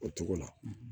O cogo la